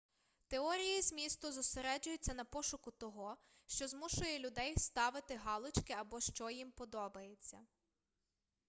теорії змісту зосереджуються на пошуку того що змушує людей ставити галочки або що їм подобається